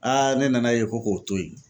ne nana ye ko k'o to ye.